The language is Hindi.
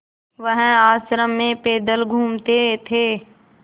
वह आश्रम में पैदल घूमते थे